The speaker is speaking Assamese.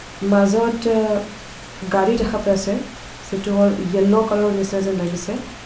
মাজত অ গাড়ী দেখা পাইছে যিটো হ'ল য়েল্লো কালা ৰ নিচিনা যেন লাগিছে.